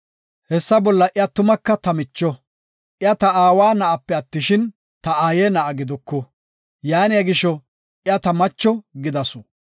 Hessa bolla iya tumaka ta micho; iya ta aawa na7ape attishin ta aaye na7a giduku, yaaniya gisho, iya ta macho gidasu.